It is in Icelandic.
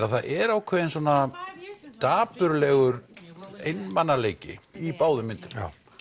að það er ákveðinn dapurlegur einmanaleiki í báðum myndum